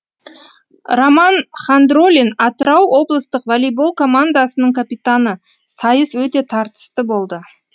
роман хандролин атырау облыстық волейбол командасының капитаны сайыс өте тартысты болды